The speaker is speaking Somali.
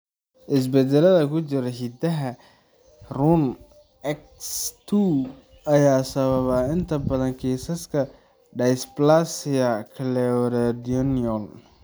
Isbeddellada ku jira hiddaha RUNX2 ayaa sababa inta badan kiisaska dysplasia cleidocranial.